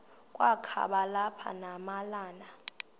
kwakaba lapha nemalana